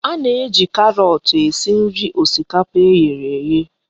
A na-eji karọt esi nri osikapa e ghere eghe